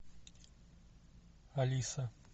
алиса